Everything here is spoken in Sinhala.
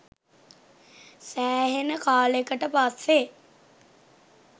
සෑහෙන කාලෙකට පස්සේ